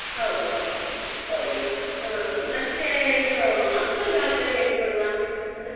ಹೌದು ಹೌದು ಮತ್ತೆ ಇದು ಮಕ್ಕಳಿಗೆ ಯಾವ್ತರ ಹೇಳಿಕೊಡುವ ನೃತ್ಯ.